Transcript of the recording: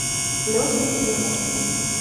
леша ефремов